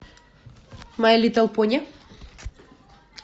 май литл пони